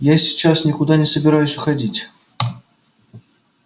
я сейчас никуда не собираюсь уходить